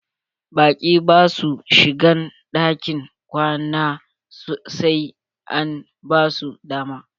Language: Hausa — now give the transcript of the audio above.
Baƙi basu shigan ɗakin kwana sai an basu dama.